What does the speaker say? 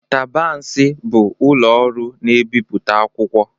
Tabansi bụ ụlọ ọrụ na ebipụta akwụkwọ.